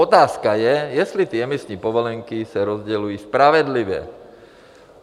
Otázka je, jestli ty emisní povolenky se rozdělují spravedlivě.